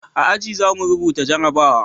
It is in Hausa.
A aji za mu rubuta jarabawa